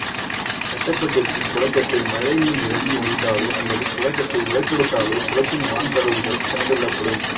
கட்டப்பட்டிருக்கும் குளக்கட்டு மழை நீர் நிரம்பி வழிந்தாலோ அல்லது குளக்கட்டு உடைப்பெடுத்தாலோ குளத்தின் வான்கதவுகள் திறந்துவிடப்படும்